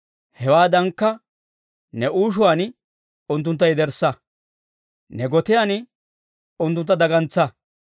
hewaadankka ne uushuwaan unttuntta yederssa; ne gotiyaan unttuntta dagantsa.